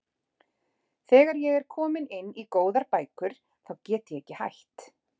Þegar ég er komin inn í góðar bækur þá get ég ekki hætt.